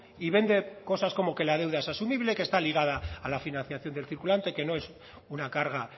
y vende cosas como que la deuda es asumible que está ligada a la financiación del circulante que no es una carga